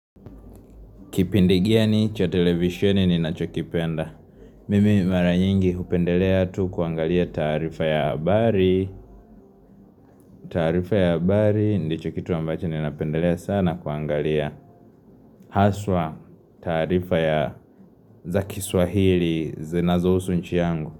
Kipindi gani cha televisioni ni na chokipenda Mimi mara nyingi hupendelea tu kuangalia taarifa ya habari taarifa ya habari ndicho kitu ambacho ni napendelea sana kuangalia Haswa taarifa ya za kiswahili zinazohusu nchi yangu.